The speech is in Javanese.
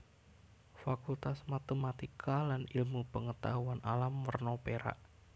Fakultas Matematika lan Ilmu Pengetahuan Alam werna perak